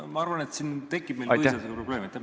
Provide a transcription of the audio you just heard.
Ma arvan, et siin tekib meil põhiseadusega probleeme.